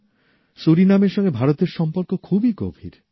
সুরিনামের সঙ্গে ভারতের সম্পর্ক খুবই গভীর